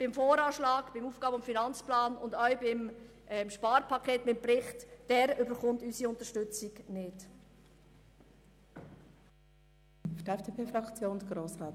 Der VA, der AFP und der Bericht zum EP bekommen unsere Unterstützung jedoch nicht.